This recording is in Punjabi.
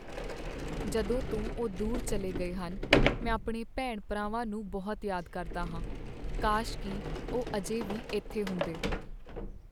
ਜਦੋਂ ਤੋਂ ਉਹ ਦੂਰ ਚੱਲੇ ਗਏ ਹਨ, ਮੈਂ ਆਪਣੇ ਭੈਣ ਭਰਾਵਾਂ ਨੂੰ ਬਹੁਤ ਯਾਦ ਕਰਦਾ ਹਾਂ ਕਾਸ਼ ਕੀ ਉਹ ਅਜੇ ਵੀ ਇੱਥੇ ਹੁੰਦੇ